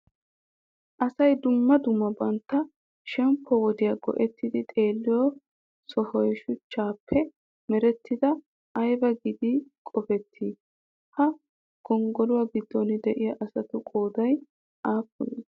Asay dumma dumma bantta shemppo wodiya go'ettidi xeelliyo sohoy shuchchaappe merettidaa ayba giidi qoppettii? Ha gonggoluwa giddon deiya asatu qooday aappunee?